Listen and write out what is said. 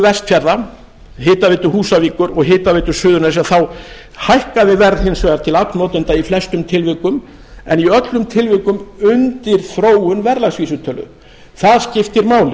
vestfjarða hitaveitu húsavíkur og hitaveitu suðurnesja þá hækkaði verð hins vegar til aflnotenda í flestum tilvikum en í öllum tilvikum undir þróun verðlagsvísitölu það skiptir máli